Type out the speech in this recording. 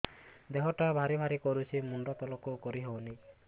ଦେହଟା ଭାରି ଭାରି କରୁଛି ମୁଣ୍ଡ ତଳକୁ କରି ହେଉନି